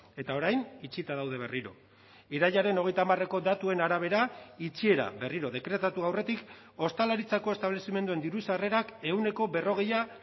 eta orain itxita daude berriro irailaren hogeita hamareko datuen arabera itxiera berriro dekretatu aurretik ostalaritzako establezimenduen diru sarrerak ehuneko berrogeia